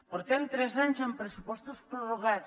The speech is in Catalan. portem tres anys amb pressupostos prorrogats